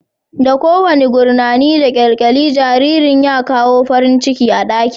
Da kowane gurnani da kyalkyali, jaririn ya kawo farin ciki a ɗakin